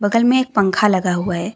बगल में एक पंखा लगा हुआ है।